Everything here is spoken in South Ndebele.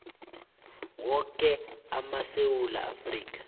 woke amasewula afrika